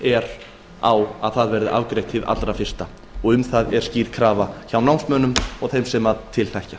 er á að það verði afgreitt sem fyrst um það er skýr krafa hjá námsmönnum og þeim sem til þekkja